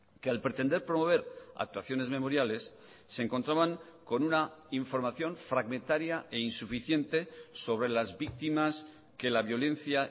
que al pretender promover actuaciones memoriales se encontraban con una información fragmentaria e insuficiente sobre las víctimas que la violencia